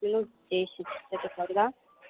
минут десять это когда